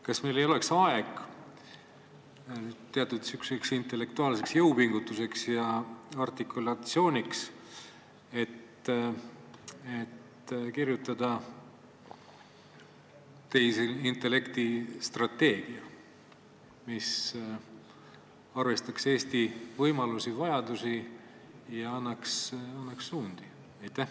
Kas meil ei oleks aeg teatud intellektuaalseks jõupingutuseks ja artikulatsiooniks, et kirjutada tehisintellekti strateegia, mis arvestaks Eesti võimalusi-vajadusi ja näitaks kätte suundi?